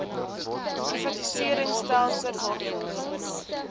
privatisering stelsel waarvolgens